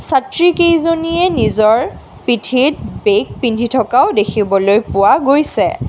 ছাত্ৰী কেইজনীয়ে নিজৰ পিঠিত বেগ পিন্ধি থকাও দেখিবলৈ পোৱা গৈছে।